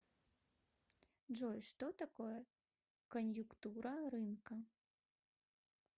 джой что такое коньюктура рынка